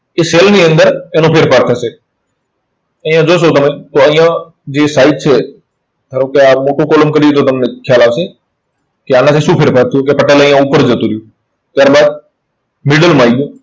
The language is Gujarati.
તે cell ની અંદર તેનો ફેરફાર થશે. અહીંયા જોશો તમે તો અહીંયા જે side છે, ધારો કે આ મોટું column કરીએ તો તમને ખ્યાલ આવશે. કે આનાથી શું ફેરફર થયું કે અહીંયા ઉપર જતું રહ્યું. ત્યાર બાદ middle આવી ગયું.